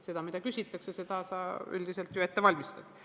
Seda, mida küsitakse, selleks sa ju üldiselt ette valmistad.